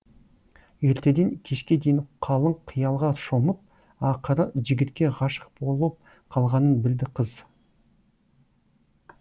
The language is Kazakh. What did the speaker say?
ертеден кешке дейін қалың қиялға шомып ақыры жігітке ғашық болып қалғанын білді қыз